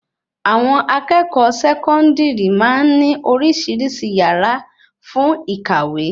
Àwọn akẹ́kọ̀ọ́ sekondiri máa ń ní oríṣiríṣi yàrá fún ìkàwé